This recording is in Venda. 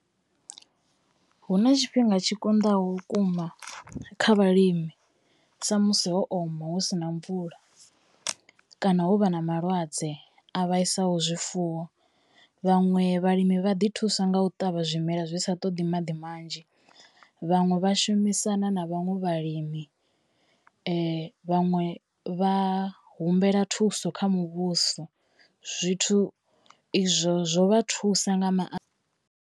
Hu na tshifhinga tshi kondaho vhukuma kha vhalimi sa musi ho oma hu sina mvula, kana ho vha na malwadze a vhaisaho zwifuwo vhaṅwe vhalimi vha ḓi thusa nga u ṱavha zwimela zwi sa ṱoḓi maḓi manzhi. Vhaṅwe vha shumisana na vhaṅwe vhalimi, vhaṅwe vha humbela thuso kha muvhuso zwithu izwo zwo vha thusa nga maanḓa.